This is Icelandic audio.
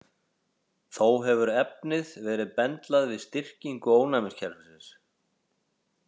Þó hefur efnið verið bendlað við styrkingu ónæmiskerfisins.